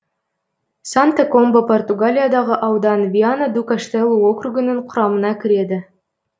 санта комба португалиядағы аудан виана ду каштелу округінің құрамына кіреді